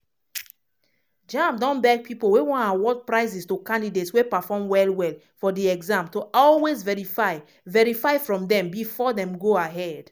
jamb don beg pipo wey wan award prizes to candidates wey perform well-well for di exam to always verify verify from dem bifor dem go ahead.